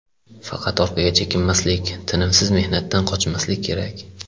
Faqat orqaga chekinmaslik, tinimsiz mehnatdan qochmaslik kerak.